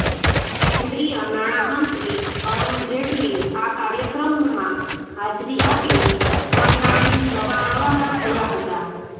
કેન્દ્રીય નાણામંત્રી અરૃણ જેટલી આ કાર્યક્રમમાં હાજરી આપી કરનાળી જવા રવાના થયાં હતાં